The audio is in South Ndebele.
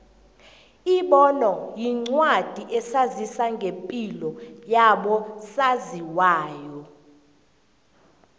ibono yincwadi esazisa ngepilo yabo saziwayo